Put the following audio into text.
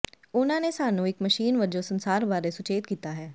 ਉਹਨਾਂ ਨੇ ਸਾਨੂੰ ਇੱਕ ਮਸ਼ੀਨ ਵਜੋਂ ਸੰਸਾਰ ਬਾਰੇ ਸੁਚੇਤ ਕੀਤਾ ਹੈ